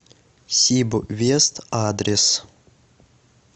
сибвест адрес